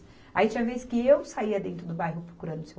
Aí tinha vez que eu saía dentro do bairro procurando o Seu